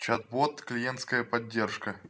чат бот клиентская поддержка